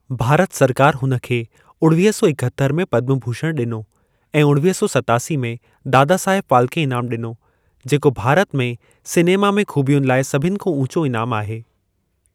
भारत सरकार हुन खे उणवीह सौ इकहतरि में पद्म भुषण ॾिनो ऐं उणवीह सौ सत्तासी में दादासाहेब फाल्के इनाम ॾिनो, जेको भारत में सिनेमा में ख़ूबियुनि लाइ सभिनि खां ऊचो इनाम आहे।